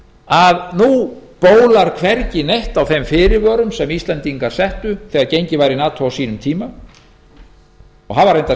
að nú bólar hvergi á þeim fyrirvörum sem íslendingar settu þegar gengið var í nato á sínum tíma og hafa